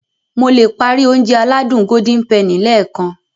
Mo le páári Ounjẹ aládùn Golden penny lẹ́ẹ̀kan